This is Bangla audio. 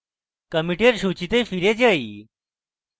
commit সূচীতে ফিরে যাই